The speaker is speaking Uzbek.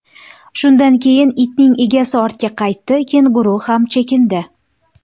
Shundan keyin itning egasi ortga qaytdi, kenguru ham chekindi.